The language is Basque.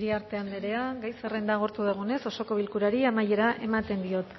iriarte andrea gai zerrenda agortu dugunez osoko bilkurari amaiera ematen diot